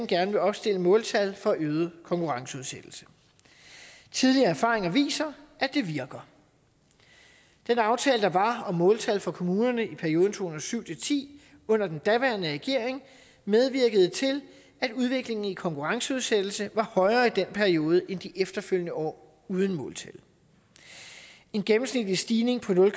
gerne vil opstille måltal for øget konkurrenceudsættelse tidligere erfaringer viser at det virker den aftale der var om måltal for kommunerne i perioden to tusind og syv til ti under den daværende regering medvirkede til at udviklingen i konkurrenceudsættelse var højere i den periode end de efterfølgende år uden måltal en gennemsnitlig stigning på nul